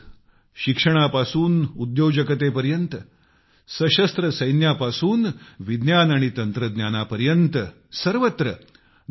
आज शिक्षणापासून उद्योजकतेपर्यंत सशस्त्र सैन्यापासून विज्ञान आणि तंत्रज्ञानापर्यंत सर्वत्र